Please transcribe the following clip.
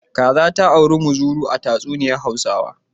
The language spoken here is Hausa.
Kaza ta auri muzuru a tatsuniyar Hausawa.